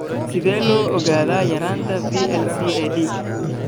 Sidee loo ogaadaa yaraanta VLCAD?